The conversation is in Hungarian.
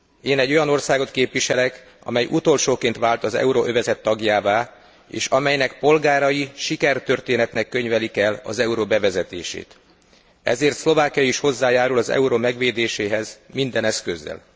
Én egy olyan országot képviselek, amely utolsóként vált az euróövezet tagjává, és amelynek polgárai sikertörténetnek könyvelik el az euró bevezetését, ezért Szlovákia is hozzájárul az euró megvédéséhez minden eszközzel.